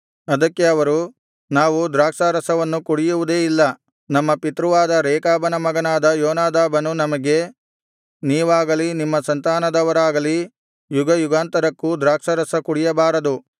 ಅದಕ್ಕೆ ಅವರು ನಾವು ದ್ರಾಕ್ಷಾರಸವನ್ನು ಕುಡಿಯುವುದೇ ಇಲ್ಲ ನಮ್ಮ ಪಿತೃವಾದ ರೇಕಾಬನ ಮಗನಾದ ಯೋನಾದಾಬನು ನಮಗೆ ನೀವಾಗಲಿ ನಿಮ್ಮ ಸಂತಾನದವರಾಗಲಿ ಯುಗಯುಗಾಂತರಕ್ಕೂ ದ್ರಾಕ್ಷಾರಸ ಕುಡಿಯಬಾರದು